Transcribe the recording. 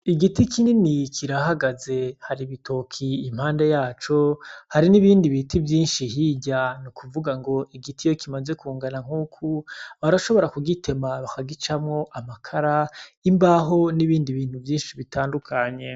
Igiti kinini kirahagaze hari gitoke impande yaco , hari n’ibindi biti vyinshi hirya ni kuvuga ngo igiti iyo kimaze kungana nk’uko, barashobora kugitema bakagicamwo Amakara, imbaho, n’ibindi vyinshi bitandukanye.